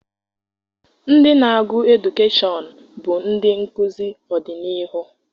Ndị na-agụ edukeshọn bụ ndị nkụzi ọdịniihu.